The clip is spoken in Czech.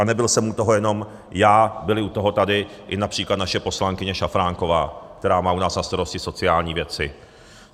A nebyl jsem u toho jenom já, byla u toho tady i například naše poslankyně Šafránková, která má u nás na starosti sociální věci.